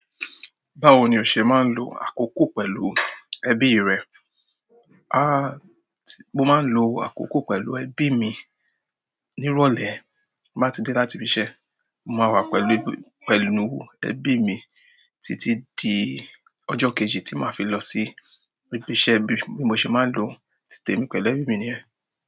Báwo ni o ṣe máa ń lo àkókò pẹ̀lú ẹbí rẹ? A, mo máa ń lo àkókò pẹ̀lú ẹbí mi ní ìrọ̀lẹ́. N bá ti dé láti ibi iṣẹ́, mo máa wà pẹ̀lú, pẹ̀lú ẹbí mi títí di ọjọ́ kejì tí màá fi lọ sí ibi iṣẹ́ bí mo ṣe máa ń lò ó. Tí tèmi pẹ̀lú ẹbí mi ni yẹ́n.